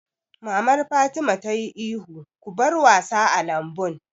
Mamar Fatima ta yi ihun 'Ku bar wasa a lambun'!